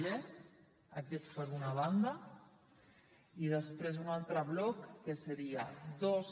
g aquests per una banda i des·prés un altre bloc que seria dos